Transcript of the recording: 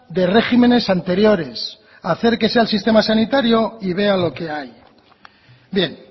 de regímenes anteriores acérquese al sistema sanitario y vea lo que hay bien